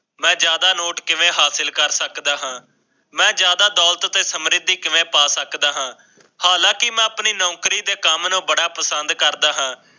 ਮੈਂ ਜਿਆਦਾ ਨੋਟ ਕਿਵੇਂ ਹਾਸਿਲ ਕਰ ਸਕਦਾ ਹਾਂ ਮੈਂ ਜ਼ਿਆਦਾ ਦੌਲਤ ਤੇ ਸਮਰਿੱਧੀ ਕਿਵੇਂ ਪਾ ਸਕਦਾ ਹਾਂ, ਹਾਲਾਂਕਿ ਮੈਂ ਆਪਣੀ ਨੌਕਰੀ ਤੇ ਕਮ ਨੂੰ ਬੜਾ ਪਸੰਦ ਕਰਦਾ ਹਾਂ।